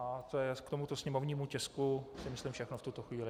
A to je k tomuto sněmovnímu tisku si myslím všechno v tuto chvíli.